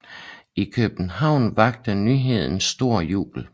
I København vakte nyheden stor jubel